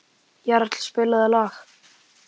Jarl, spilaðu lag.